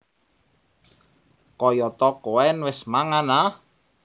Kayata Koen wis mangan a